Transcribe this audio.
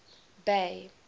bay